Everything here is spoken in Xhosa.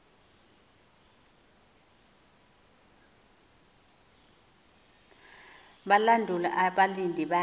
balandula abalindi bathi